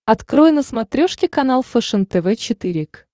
открой на смотрешке канал фэшен тв четыре к